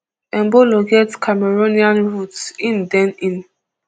embolo get cameroonian roots im den im